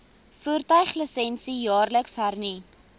voertuiglisensie jaarliks hernu